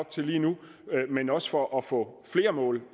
til lige nu men også for at få flere mål